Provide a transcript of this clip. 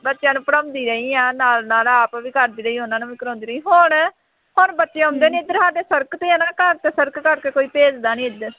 ਬੱਚਿਆਂ ਨੂੰ ਪੜ੍ਹਾਉਂਦੀ ਰਹੀ ਹਾਂ, ਨਾਲ ਨਾਲ ਆਪ ਵੀ ਪੜ੍ਹਦੀ ਰਹੀ, ਉਹਨਾ ਨੂੰ ਵੀ ਕਰਾਉਂਦੀ ਰਹੀ, ਹੋਰ, ਹੁਣ ਬੱਚੇ ਆਉਂਦੇ ਨਹੀਂ ਇੱਧਰ ਸਾਡੇ ਸੜਕ ਤੇ ਹੈ ਮੇਰਾ ਘਰ ਅਤੇ ਸੜਕ ਕਰਕੇ ਕੋਈ ਭੇਜਦਾ ਨਹੀਂ ਇੱਧਰ